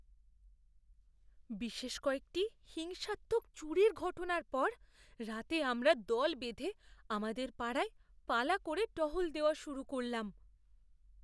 বিশেষ কয়েকটি হিংসাত্মক চুরির ঘটনার পর রাতে আমরা দল বেঁধে আমাদের পাড়ায় পালা করে টহল দেওয়া শুরু করলাম।